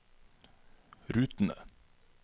rutene